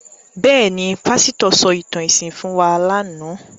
Bẹ́ẹ̀ ni, pásítọ̀ sọ ìtàn ẹ̀sìn fún wa lánàá.